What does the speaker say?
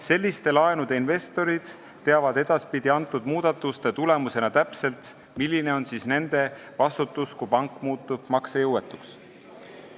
Selliste laenude investorid teavad edaspidi muudatuste tulemusena täpselt, milline on nende vastutus, kui pank muutub maksejõuetuks.